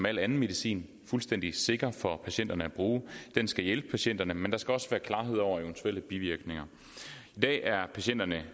al anden medicin fuldstændig sikker for patienterne at bruge den skal hjælpe patienterne men der skal også være klarhed over eventuelle bivirkninger i dag er patienterne